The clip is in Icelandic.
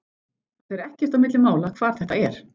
Það fer ekkert á milli mála hvar þetta er.